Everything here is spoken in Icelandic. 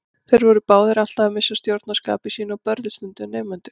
Þeir voru báðir alltaf að missa stjórn á skapi sínu og börðu stundum nemendur.